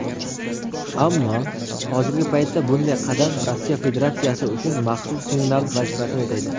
ammo hozirgi paytda bunday qadam Rossiya Federatsiyasi uchun "maxsus signal" vazifasini o‘taydi.